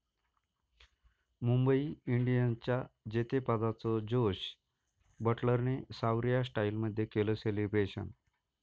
मुंबई इंडियन्सच्या जेतेपदाचं जोस बटलरने 'सावरिया' स्टाईलमध्ये केलं सेलिब्रेशन!